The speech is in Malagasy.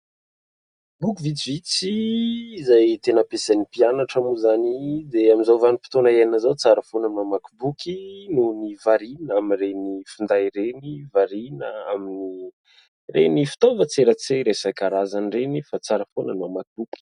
Boky vitsivitsy izay tena ampiasain'ny mpianatra moa izany dia amin'izao vanim-potoana iainana izao. Tsara foana ny mamaky boky eo ny variana amin'ireny finday ireny, variana amin'ny ireny fitaovan-tserasera isankarazany ireny fa tsara foana ny mamaky boky.